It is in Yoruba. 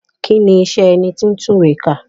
Kí ni iṣẹ́ ẹni tí ń tún ìwé kà?